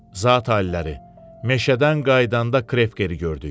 Zat aliləri, meşədən qayıdanda Krevkeri gördük.